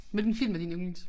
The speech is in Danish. Hvilken film er din yndlings